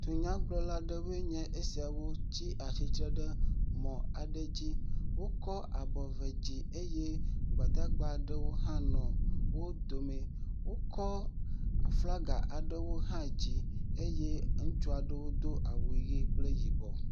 Dunyagblɔla aɖewo nye esia tsi atsitre ɖe mɔ aɖe dzi. Wokɔ abɔ eve dzi eye gbadagbe aɖe hã nɔ wo dome. Wokɔ aflaga aɖewo hã dzi eye ŋutsu aɖewo do awu ʋie kple yibɔ.